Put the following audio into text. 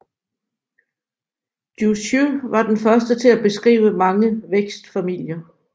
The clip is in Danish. Jussieu var den første til at beskrive mange vækstfamilier